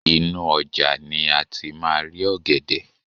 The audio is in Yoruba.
inú ojà ni a ti ma ri ògèdè